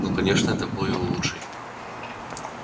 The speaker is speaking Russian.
ну конечно это был его лучший